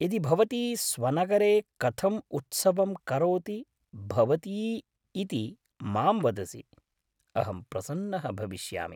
यदि भवती स्वनगरे कथं उत्सवं करोति भवती इति मां वदसि, अहं प्रसन्नः भविष्यामि।